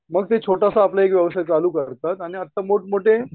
मग ते छोटासा आपला एक व्यवसाय चालू करतात आणि आता मोठमोठे